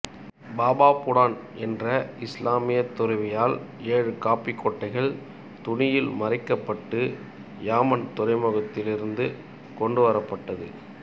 பாபா புடன் என்ற இஸ்லாமியத் துறவியால் ஏழு காப்பி கொட்டைகள் துணியில் மறைக்கப்பட்டு யெமன் துறைமுகத்திலிருந்து கொண்டு வரப்பட்டது